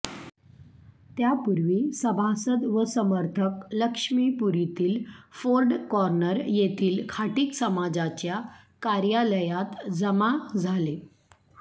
त्यापूर्वी सभासद व समर्थक लक्ष्मीपुरीतील फोर्ड कॉर्नर येथील खाटीक समाजाच्या कार्यालयात जमा झाले